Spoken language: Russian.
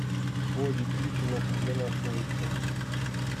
боди питру где находится